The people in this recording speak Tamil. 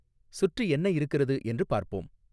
சுற்றி என்ன இருக்கிறது என்று பார்ப்போம்